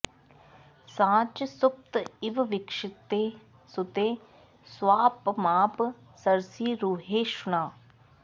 सा च सुप्त इव वीक्षिते सुते स्वापमाप सरसीरुहेक्षणा